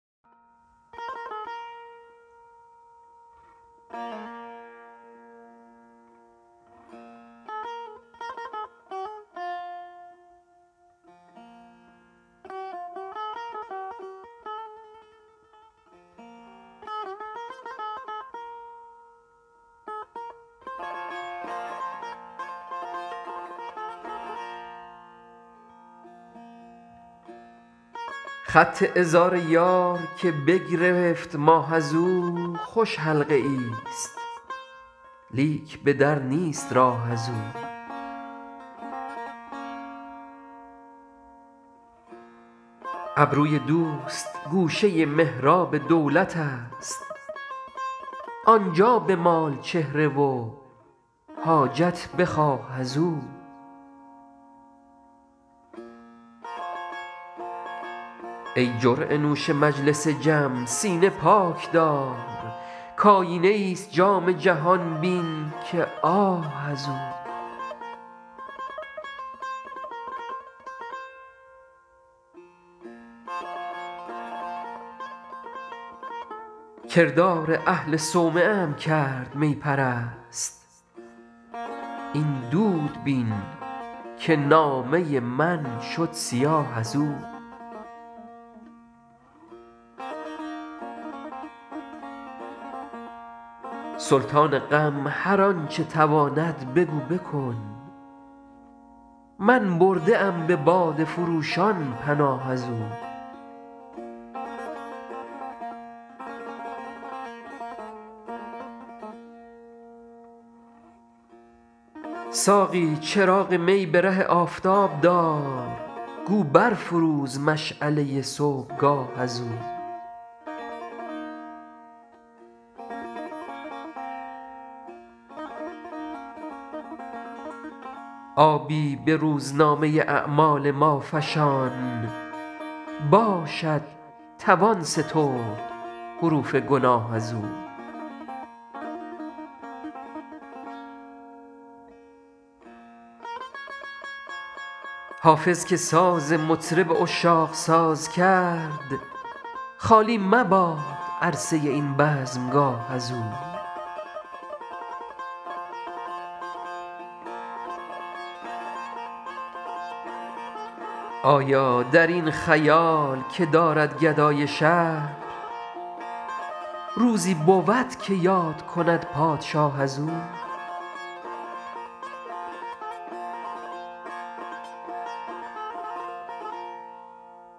خط عذار یار که بگرفت ماه از او خوش حلقه ای ست لیک به در نیست راه از او ابروی دوست گوشه محراب دولت است آن جا بمال چهره و حاجت بخواه از او ای جرعه نوش مجلس جم سینه پاک دار کآیینه ای ست جام جهان بین که آه از او کردار اهل صومعه ام کرد می پرست این دود بین که نامه من شد سیاه از او سلطان غم هر آن چه تواند بگو بکن من برده ام به باده فروشان پناه از او ساقی چراغ می به ره آفتاب دار گو بر فروز مشعله صبحگاه از او آبی به روزنامه اعمال ما فشان باشد توان سترد حروف گناه از او حافظ که ساز مطرب عشاق ساز کرد خالی مباد عرصه این بزمگاه از او آیا در این خیال که دارد گدای شهر روزی بود که یاد کند پادشاه از او